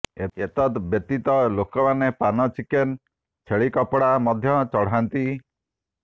ଏତଦ୍ ବ୍ୟତୀତ ଲୋକମାନେ ପାନ ଚିକେନ ଛେଳି କପଡା ମଧ୍ୟ ଚଢାନ୍ତି